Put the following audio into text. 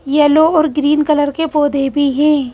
Yellow और green colour के पौधे भी हैं.